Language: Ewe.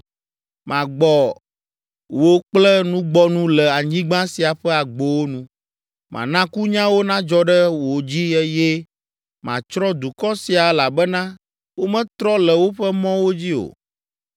Magbɔ wò kple nugbɔnu le anyigba sia ƒe agbowo nu. Mana kunyawo nadzɔ ɖe wo dzi eye matsrɔ̃ dukɔ sia elabena wometrɔ le woƒe mɔwo dzi o.